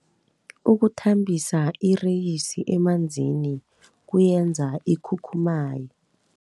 Ukuthambisa ireyisi emanzini kuyenza ikhukhumaye.